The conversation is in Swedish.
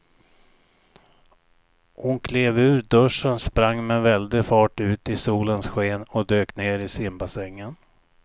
Hon klev ur duschen, sprang med väldig fart ut i solens sken och dök ner i simbassängen.